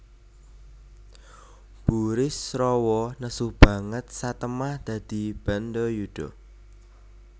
Burisrawa nesu banget satemah dadi bandayuda